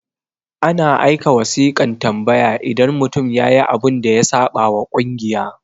ana aika wasiƙan tambaya idan mutum yayi abun da ya saɓa wa kungiya